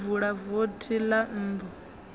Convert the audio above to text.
a vula vothi ḽa nnḓu